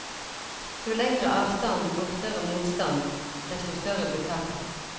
Jo lengre avstand og større motstand, desto større blir tapet.